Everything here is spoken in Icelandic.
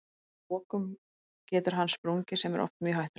Að lokum getur hann sprungið sem er oft mjög hættulegt.